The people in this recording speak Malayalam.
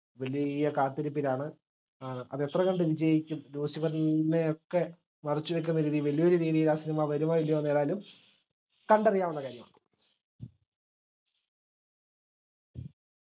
വലിയ കാത്തിരിപ്പിലാണ് ഏർ അത് എത്ര കണ്ട് വിജയിക്കും ലൂസിഫെർനെ ഒക്കെ മറച്ചുവെക്കുന്ന രീതിയിൽ വലിയൊരു രീതിയിൽ ആ cinema വരുമോഇല്ലെയൊന്ന് ഏതായാലും കണ്ടറിയാവുന്ന കാര്യമാണ്